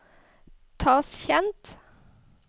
Tasjkent